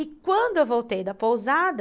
E quando eu voltei da pousada...